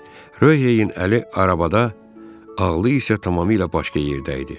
Röheyin əli arabada, ağlı isə tamamilə başqa yerdə idi.